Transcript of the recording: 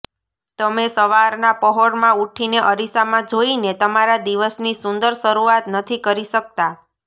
તમે સવારના પહોરમાં ઉઠીને અરીસામાં જોઈને તમારા દિવસની સુંદર શરૂઆત નથી કરી શકતાં